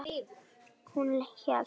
Hún hélt.